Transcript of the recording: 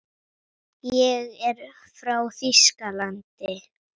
Ég er frá Þýskalandi.